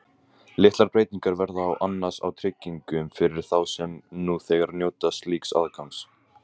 Litlar breytingar verða annars á tryggingum fyrir þá sem nú þegar njóta slíks aðgangs.